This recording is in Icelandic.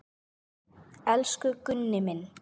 Elsku Gunni minn.